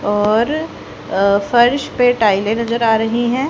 और अ फर्श पे टाइले नजर आ रही है।